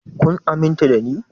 Kun aminta da ni?